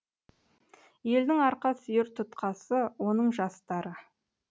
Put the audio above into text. елдің арқа сүйер тұтқасы оның жастары